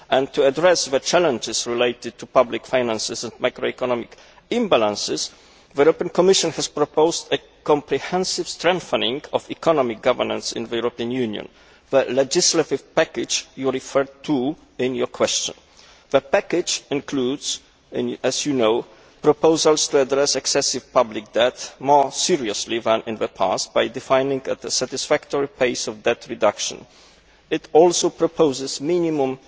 Secondly, to address the challenges to public finances and macroeconomic imbalances, the European Commission has proposed a comprehensive strengthening of economic governance in the European Union, the legislative package you referred to in your question. The package includes, as you know, proposals to address excessive public debt more seriously than in the past by defining a satisfactory pace of debt reduction. It also proposes minimum